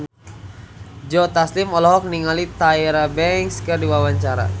Joe Taslim olohok ningali Tyra Banks keur diwawancara